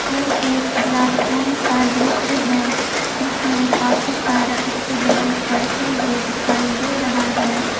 यह एक क्लासरूम का दृश्य है जिसेमें काफी सारा स्टूडेंट पढ़ते हुए दिखाई दे रहा है।